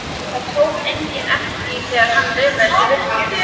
Það tók enginn eftir því þegar hann laumaðist í burtu.